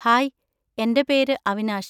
Hi, എൻ്റെ പേര് അവിനാഷ്.